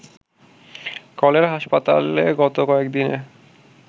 cholera হাসপাতালে গত কয়েকদিনে